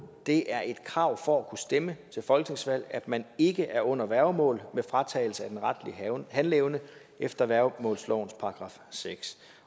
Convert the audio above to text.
det er et krav for at kunne stemme til folketingsvalg at man ikke er under værgemål med fratagelse af den retlige handleevne efter værgemålslovens § seks